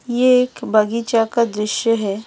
ये एक बगीचा का दृश्य है।